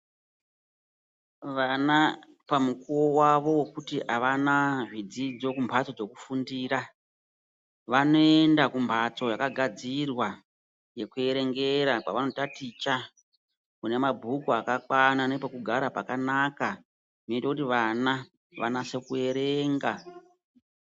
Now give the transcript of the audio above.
Vana pamukuwo wawo wekuti avana zvidzidzo kumbatso zvokufundira vanoenda kumhatso yakagadzirwa yekuerengera kwavanondaticha kune mabhuku akakwana nepekugara pakanaka zvinoita kuti vana vanase kuerenga